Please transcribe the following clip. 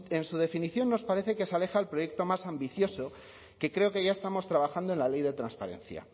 en su definición nos parece que se aleja del proyecto más ambicioso que creo que ya estamos trabajando en la ley de transparencia